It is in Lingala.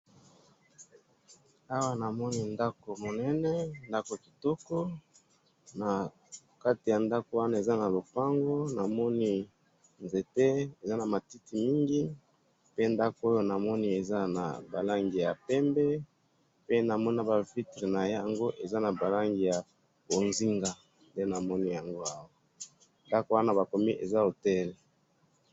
Awa namoni ndako munene, ndako kitoko, nakati yandako wana eza nalopango, namoni nzete eza namatiti mingi, pe ndako oyo namoni eza nabalangi yapembe, pe namoni nabavitre nayango eza nabalangi yabonzinga, nde namoni yango awa, ndako wana bakomi eza hotel.